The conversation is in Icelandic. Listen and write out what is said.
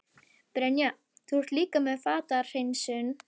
Brynja: Þú ert líka með fatahreinsun?